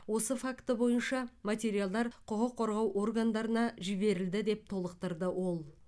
осы факті бойынша материалдар құқық қорғау органдарына жіберілді деп толықтырды ол